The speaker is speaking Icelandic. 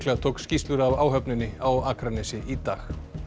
tók skýrslur af áhöfninni á Akranesi í dag